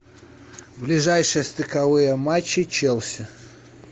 ближайшие стыковые матчи челси